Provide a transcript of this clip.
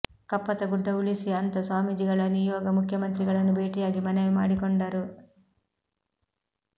ಕಪ್ಪತಗುಡ್ಡ ಉಳಿಸಿ ಅಂತಾ ಸ್ವಾಮೀಜಿಗಳ ನಿಯೋಗ ಮುಖ್ಯಮಂತ್ರಿಗಳನ್ನು ಭೇಟಿಯಾಗಿ ಮನವಿ ಮಾಡಿಕೊಂಡರು